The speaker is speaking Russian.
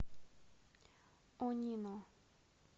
онино